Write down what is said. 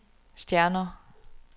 stjerner